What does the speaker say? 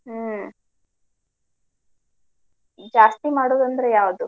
ಹ್ಮ್ ಜಾಸ್ತಿ ಮಾಡೋದಂದ್ರೆ ಯಾವ್ದ್?